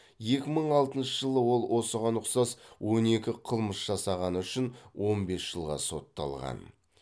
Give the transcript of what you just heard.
екі мың алтыншы жылы ол осыған ұқсас он екі қылмыс жасағаны үшін он бес жылға сотталған